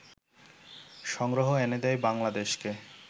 সংগ্রহ এনে দেয় বাংলাদেশকে